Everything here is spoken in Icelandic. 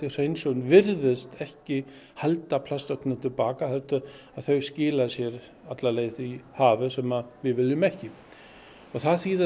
hreinsun virðist ekki halda plastögnum til baka heldur þau skila sér alla leið í hafið sem við viljum ekki það þýðir